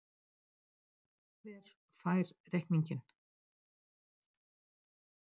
Hver fær reikninginn?